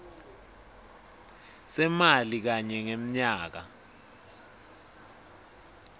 semali kanye ngemnyaka